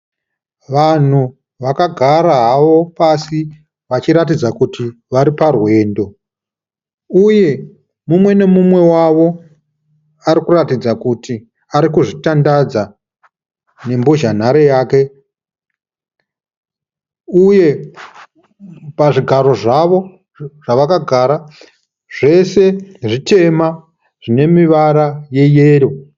Vanhu vakagara havo pasi vachiratidza kuti variparwendo, uye mumwe nemumwe wavo arikuratidza kuti arikuzvitandadza nembozhanhare yake uye pazvigaro zvavo zvavakagara zvese zvitema zvine mivara yeyero.